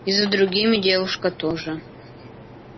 и за другими девушка тоже